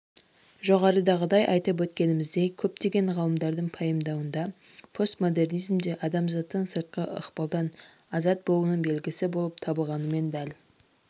жоғарыдағы айтып өткеніміздей көптеген ғалымдардың пайымдауында постмодернизмде адамзаттың сыртқы ықпалдан азат болуының белгісі болып табылғанымен дәл